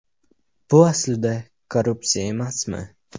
Bu aslida korrupsiya emasmi?